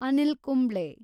Anil Kumble